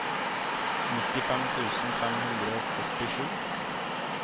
nittifem tusen fem hundre og førtisju